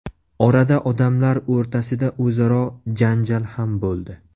Orada odamlar o‘rtasida o‘zaro janjal ham bo‘ldi.